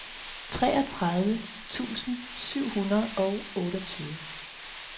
treogtredive tusind syv hundrede og otteogtyve